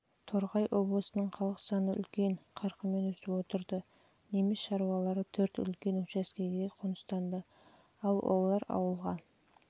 торғай облысының халық саны үлкен қарқынмен өсіп отырды неміс шаруалары төрт үлкен учаскеге қоныстанды олар ауылға